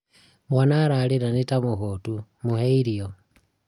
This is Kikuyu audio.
mwana ararĩra nĩ tamũhũtũ, mũhe irio